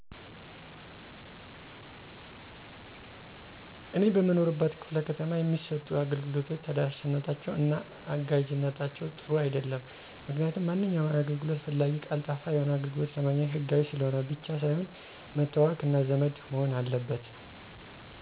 እኔ በምኖርበት ክ/ከተማ የሚሰጡ አገልግሎቶች ተደራሽነታቸው እና አጋዥነታቸው ጥሩ አይደለም. ምክንያቱም ማንኛውም አገልግሎት ፈላጊ ቀልጣፋ የሆነ አገልግሎት ለማግኘት ሕጋዊ ስለሆነ ብቻ ሳይሆን መተዋወቅ እና ዘመድ መሆን አለበት.